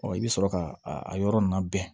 i bɛ sɔrɔ ka a yɔrɔ ninnu labɛn